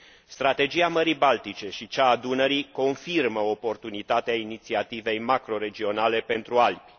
Strategia Mării Baltice și cea a Dunării confirmă oportunitatea inițiativei macroregionale pentru Alpi.